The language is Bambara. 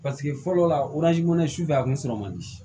Paseke fɔlɔ la su fɛ a kun sɔrɔ man di